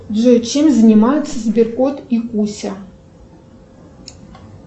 джой чем занимаются сберкот и куся